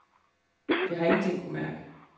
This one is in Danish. Jeg har ingenting kunnet mærke.